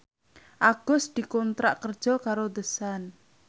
Agus dikontrak kerja karo The Sun